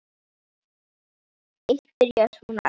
Eitt byrjaði svona: Elsku mamma!